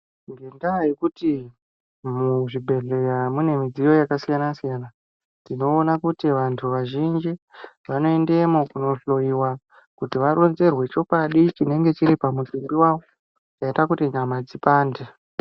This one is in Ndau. Ngendaa yekuti muzvibhedhlera mune midziyo yakasiyana siyana tinoona kuti vantu vazhinji vonoendamo kunohloyiwa kuti varonzerwe chokwadi chinonga chiri pamutumbi wavo chaita kuti nyama dzipande.